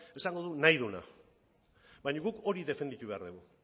esango du nahi duena baina guk hori defendatu behar dugu